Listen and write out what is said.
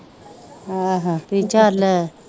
ਆਹੋ ਤੇ ਚੱਲ